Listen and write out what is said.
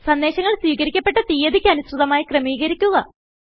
സന്ദേശങ്ങൾ സ്വീകരിക്കപെട്ട തീയതിക്ക് അനുസൃതമായി ക്രമീകരിക്കുക